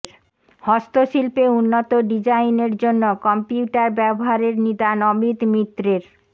হস্তশিল্পে উন্নত ডিজাইনের জন্য কম্পিউটার ব্যবহারের নিদান অমিত মিত্রের